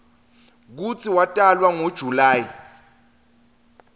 kutsi watalwa ngo july